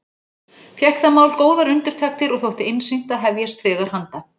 Fékk það mál góðar undirtektir og þótti einsýnt að hefjast þegar handa.